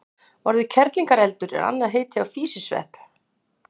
Orðið kerlingareldur er annað heiti á físisvepp.